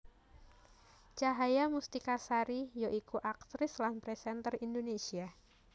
Cahaya Mustika Sari ya iku aktris lan presenter Indonésia